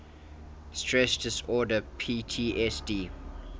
stress disorder ptsd